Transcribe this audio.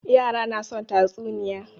Yara na son tatsuniya.